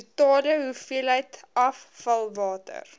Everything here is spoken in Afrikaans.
totale hoeveelheid afvalwater